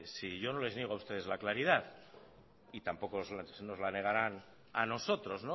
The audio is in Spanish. si yo no les niego a ustedes la claridad y tampoco nos la negaran a nosotros